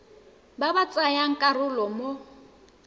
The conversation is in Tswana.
ba ba tsayang karolo mo